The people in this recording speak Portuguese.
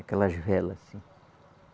Aquelas vela assim.